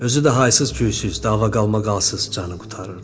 Özü də haysız-küyüz, dava-qalmaqalsız canı qurtarırdı.